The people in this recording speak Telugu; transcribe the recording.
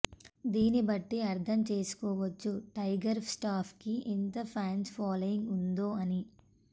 దీన్నిబట్టి అర్థం చేసుకోవచ్చు టైగర్ స్టాఫ్ కి ఎంత ఫ్యాన్స్ ఫాలోయింగ్ ఉందో అని